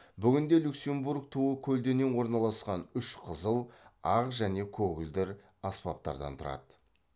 бүгінде люксембург туы көлденең орналасқан үш қызыл ақ және көгілдір аспаптардан тұрады